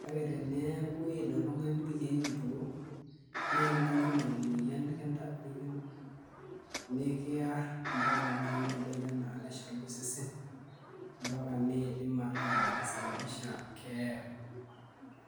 kake teneaku iid oltungani irkiek ituok neaku ekintanyamal enoyian nikiar mbaka nai nebaki ana neshalu osesen mbaka nidim ataa kisababisha keeya.